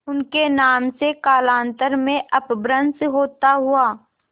उनके नाम से कालांतर में अपभ्रंश होता हुआ